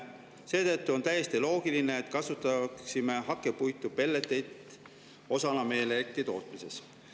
Seetõttu oleks täiesti loogiline kasutada hakkepuitu ja pelleteid osana meie elektritootmisest.